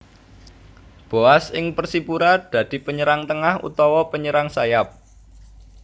Boaz ing Persipura dadi penyerang tengah utawa penyerang sayap